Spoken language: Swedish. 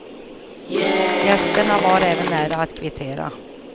Gästerna var även nära att kvittera.